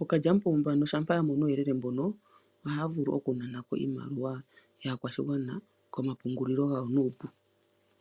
ookalyamupombo ano shampa yamono omauyelele mbono ohaya vulu oku naanako iimaliwa yaakwashigwana komapungulilo gawo nuupu.